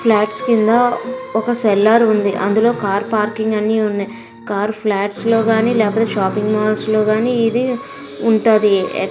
Flats కింద ఒక cellar ఉంది. అందులో కార్ పార్కింగ్ అని ఉన్నాయ్. కార్ ఫ్లాట్స్ లో గాని షాపింగ్ మాల్స్లో గాని ఇది ఉంటది.